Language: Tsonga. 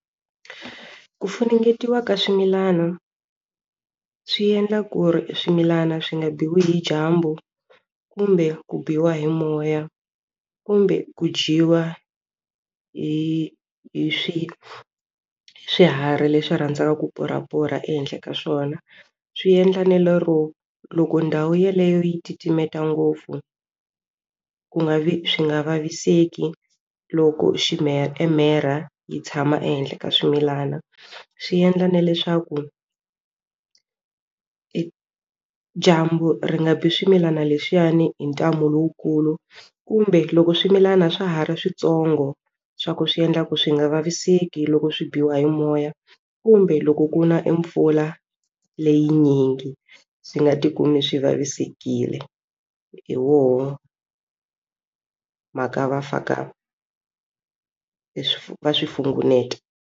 Ku funengetiwa ka swimilana swi endla ku ri swimilana swi nga biwi hi dyambu kumbe ku biwa hi moya kumbe ku dyiwa hi hi swiharhi leswi rhandzaka ku purhapurha ehenhla ka swona swi endla na lero loko ndhawu yeleyo yi titimeta ngopfu ku nga vi swi nga vaviseki loko e mherha yi tshama ehenhla ka swimilana swi endla na leswaku e dyambu ri nga bi swimilana leswiyani hi ntamu lowukulu kumbe loko swimilana swa ha ri switsongo swa ku swi endla ku swi nga vaviseki loko swi biwa hi moya kumbe loko ku na mpfula leyinyingi swi nga tikumi swi vavisekile hi woho mhaka va faka leswi va swi .